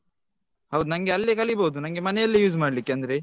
ಹೌದು ನಂಗೆ ಅಲ್ಲೇ ಕಲೀಬಹುದು ನಂಗೆ ಮನೇಲಿ use ಮಾಡ್ಲಿಕ್ಕೆ ಅಂದ್ರೆ.